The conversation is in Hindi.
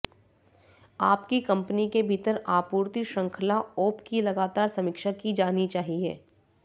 आपकी कंपनी के भीतर आपूर्ति श्रृंखला ओप की लगातार समीक्षा की जानी चाहिए